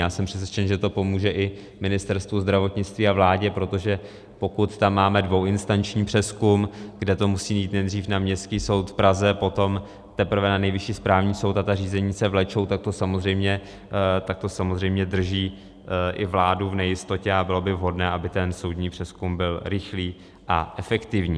Já jsem přesvědčen, že to pomůže i Ministerstvu zdravotnictví a vládě, protože pokud tam máme dvouinstanční přezkum, kde to musí jít nejdřív na Městský soud v Praze, potom teprve na Nejvyšší správní soud, a ta řízení se vlečou, tak to samozřejmě drží i vládu v nejistotě, a bylo by vhodné, aby ten soudní přezkum byl rychlý a efektivní.